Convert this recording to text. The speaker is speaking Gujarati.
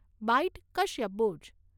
બાઈટ કશ્યપ બુચ